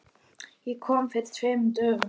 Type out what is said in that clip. Ég kom fyrir tveimur dögum.